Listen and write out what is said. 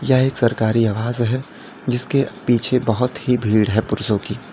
यह एक सरकारी आवास है जिसके पीछे बहुत ही भीड़ है पुरुषों की।